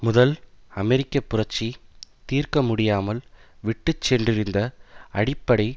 முதல் அமெரிக்க புரட்சி தீர்க்க முடியாமல் விட்டு சென்றிருந்த அடிப்படை